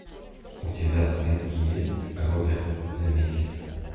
у тебя в списке есть роберт земекис